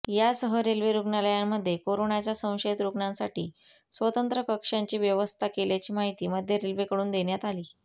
यासह रेल्वे रुग्णालयांमध्ये करोनाच्या संशयित रुग्णांसाठी स्वतंत्र कक्षांची व्यवस्था केल्याची माहिती मध्य रेल्वेकडून देण्यात आली